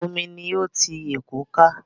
Omi ni ó ti Èkó ká.